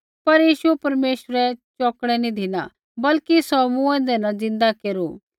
पर यीशु परमेश्वरै चौकणै नी धिना बल्कि सौ मूँऐंदै न ज़िन्दा केरू